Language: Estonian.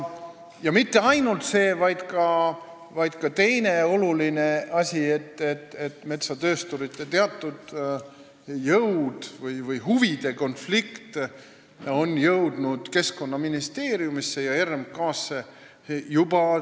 Metsatöösturite teatud jõudude põhjustatud huvide konflikt on jõudnud juba Keskkonnaministeeriumisse ja RMK-sse.